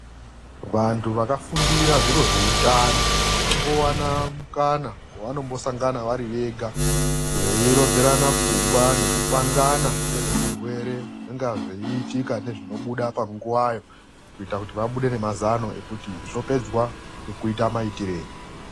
VANTU VAKAFUNDIRA ZVIRO ZVOUTANO VANOMBOWANA MUKANA WAVANOMBOSANGANA VARI VEGA VEIRODZERANA PFUNGWA NEKUPANGANA NGEZVEZVIRWERE ZVINONGA ZVEIITIKA NEZVINOBUDA PANGUWAYO. KUITIRA KUTI VABUDE NGEMAZANO EKUTI ZVOPEDZWA NGEKUITA MAITIREI.